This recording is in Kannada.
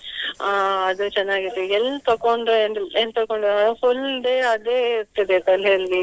ಅಹ್ ಅದು ಚೆನ್ನಾಗಿದೆ ಎಲ್ ತಕೊಂಡೆ ಅಂದ್ರೆ ಏನ್ ತಕೊಂಡೆ ಅದು full day ಅದೇ ಇರ್ತದೆ ತಲೆಯಲ್ಲಿ.